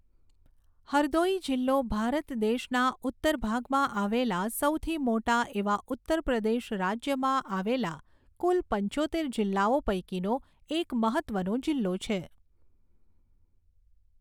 હરદૌઈ જિલ્લો ભારત દેશના ઉત્તર ભાગમાં આવેલા સૌથી મોટા એવા ઉત્તર પ્રદેશ રાજ્યમાં આવેલા કુલ પંચોતેર જિલ્લાઓ પૈકીનો એક મહત્વનો જિલ્લો છે.